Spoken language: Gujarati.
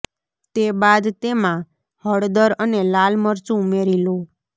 તે બાદ તેમા હળદર અને લાલ મરચું ઉમેરી લો